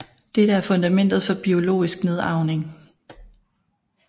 Dette er fundamentet for biologisk nedarvning